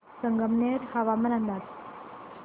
संगमनेर हवामान अंदाज